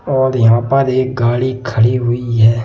और यहां पर एक गाड़ी खड़ी हुई है।